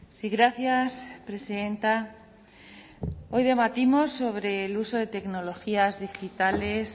sí gracias presidenta hoy debatimos sobre el uso de tecnologías digitales